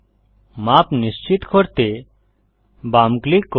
মাপ নিশ্চিত করতে বাম ক্লিক করুন